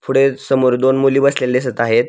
पुढे समोर दोन मुली बसलेल्या दिसत आहेत.